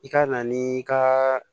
I ka na ni ka